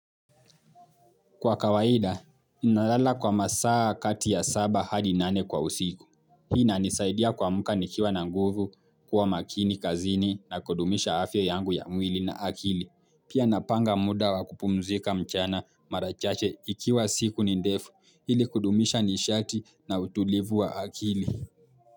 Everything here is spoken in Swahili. Kwa kawaida, ninalala kwa masaa kati ya saba hadi nane kwa usiku. Hii inanisaidia kuamka nikiwa na nguvu, kuwa makini kazini na kudumisha afya yangu ya mwili na akili. Pia napanga muda wa kupumzika mchana mara chache ikiwa siku ni ndefu ili kudumisha nishati na utulivu wa akili.